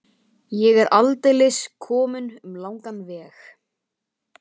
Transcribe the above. Ég er aldeilis kominn um langan veg.